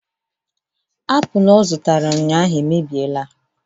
Apụl ọ zụtara ụnyaahụ emebiela